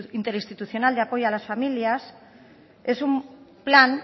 interinstitucional de apoyo a las familias es un plan